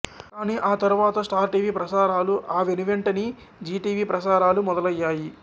కానీ ఆ తరువాత స్టార్ టీవీ ప్రసారాలు ఆ వెనువెంటనీ జీ టీవీ ప్రసారాలు మొదలయ్యాయి